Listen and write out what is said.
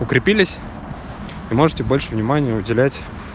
укрепились и можете больше внимания уделять